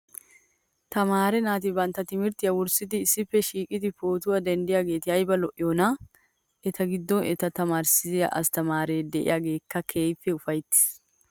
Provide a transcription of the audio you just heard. Tamaare naati bantta timirttiyaa wurssidi issippe shiiqidi pootuwaa denddiyaageeti ayiba lo'iyoonaa! Eta giddon eta taamariissida asttamaare diyaageekka keehi ufayitti uttis.